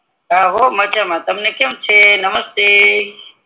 હા હો મજામાં તમને કેમ છે નમસ્તે